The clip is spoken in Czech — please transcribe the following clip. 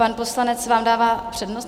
Pan poslanec vám dává přednost?